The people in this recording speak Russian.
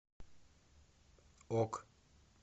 ок